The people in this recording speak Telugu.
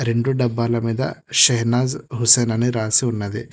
రెండు డబ్బాల మీద షహనాజ్ హుస్సేన్ అని రాసి ఉన్నది.